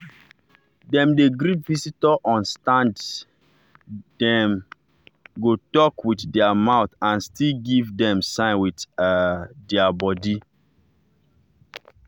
dem dey greet visitor on standdem go talk with their mouth and still give dem sign with um their body.